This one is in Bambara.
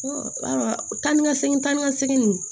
taa ni ka segin taa ni ka segin ninnu